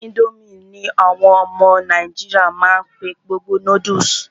Ińdómì ní àwọn ọmọ nàìjíríà má n pé gbogbo noodles.